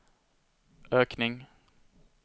ökning